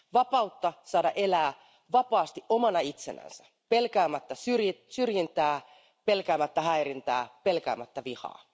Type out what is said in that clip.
Vapautta saada elää vapaasti omana itsenään pelkäämättä syrjintää, pelkäämättä häirintää, pelkäämättä vihaa.